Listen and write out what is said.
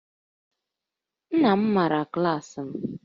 Nna m maara klaasị m